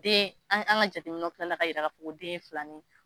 Den an an ka jateminɛnw kila ka yira ko den ye filanin ye.